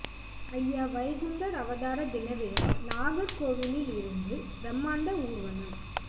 அய்யா வைகுண்டர் அவதார தின விழா நாகர்கோவிலில் இருந்து பிரமாண்ட ஊர்வலம்